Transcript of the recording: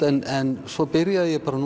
en svo byrjaði ég bara